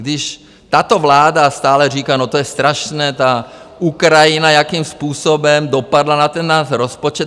Když tato vláda stále říká, no to je strašné, ta Ukrajina, jakým způsobem dopadla na ten náš rozpočet.